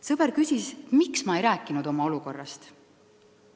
Sõber küsis, miks ma ei olnud rääkinud oma olukorrast.